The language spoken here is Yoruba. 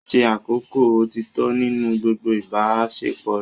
Ṣe àkọ́kọ́ òtítọ́ nínú gbogbo ìbáṣepọ̀ rẹ.